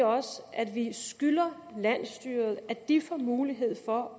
også at vi skylder landsstyret at de får mulighed for